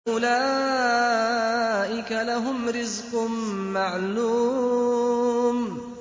أُولَٰئِكَ لَهُمْ رِزْقٌ مَّعْلُومٌ